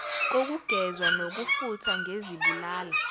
kokugezwa nokufuthwa ngezibulala